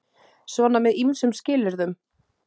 Svona með ýmsum skilyrðum.